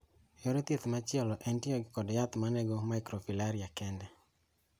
Yor thieth machielo en tiyo kod yath manego microfilariae kende.